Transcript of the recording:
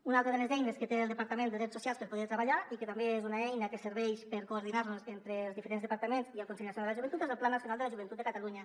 una altra de les eines que té el departament de drets socials per poder treballar i que també és una eina que serveix per coordinar nos entre els diferents departaments i el consell nacional de la joventut és el pla nacional de la joventut de catalunya